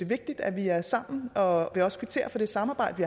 vigtigt at vi er sammen og at man også kvitterer for det samarbejde